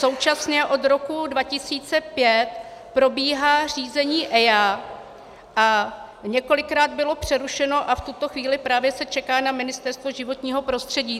Současně od roku 2005 probíhá řízení EIA a několikrát bylo přerušeno a v tuto chvíli právě se čeká na Ministerstvo životního prostředí.